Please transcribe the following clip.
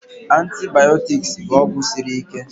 Antibaotiks bụ ọgwụ siri ike